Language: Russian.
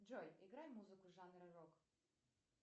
джой играй музыку жанра рок